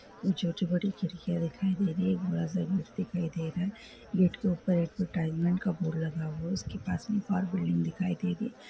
जो जो बड़ी खिड़कियां दिखाई दे रही हैं। एक दरवाज़ा भी दिखाई दे रहा है। गेट के ऊपर एडवर्टाइज़मेंट का बोर्ड लगा हुआ है। उसके पास में एक और बिल्डिंग दिखाई दे रही है।